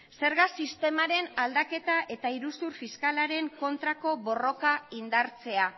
zerga sistemaren aldaketa eta iruzur fiskalaren aurkako borroka indartzea